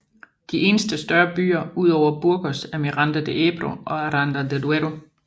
De eneste større byer ud over Burgos er Miranda de Ebro og Aranda de Duero